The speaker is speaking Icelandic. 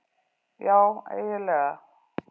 Já eiginlega.